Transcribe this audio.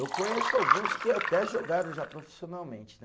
Eu conheço alguns que até jogaram já profissionalmente, né?